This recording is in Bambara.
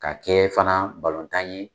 Ka kɛ fana balotan ye